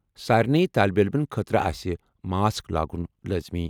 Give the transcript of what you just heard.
سارنٕے طٲلبہِ عٔلِمن خٲطرٕ آسہِ ماسک لاگُن لٲزمی۔